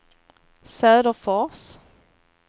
Söderfors